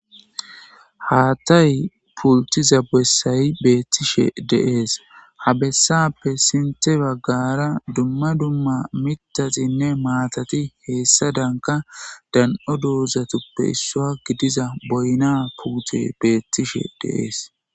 haatay pultiza bessayi beettishe deees habessappe sinte baggara dumma dumma mitatinne maatati heessadanka dan7o doozatuppe issaa gidiza boyna puute beettishe deees.